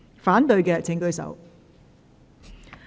反對的請舉手。